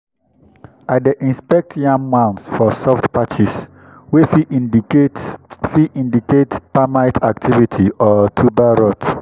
i dey inspect yam mounds for soft patches wey fit indicate fit indicate termite activity or tuber rot.